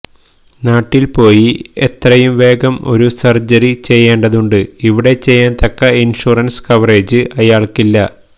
നാട്ടില് പോയി എത്രയും വേഗം ഒരു സര്ജറി ചെയ്യേണ്ടതുണ്ട് ഇവിടെ ചെയ്യാന് തക്ക ഇന്ഷുറന്സ് കവറേജ് അയാള്ക്കില്ല